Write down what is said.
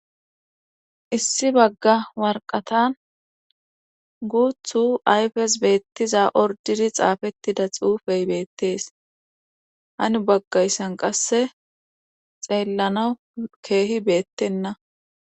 Issi bagga warqatan guuthu ayfes beettiza ordiri xaafettida xuufey beettees hani baggayssan qasse xeellana keehi beettenna.